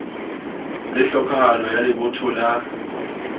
le tlhokahalo ya lebotho la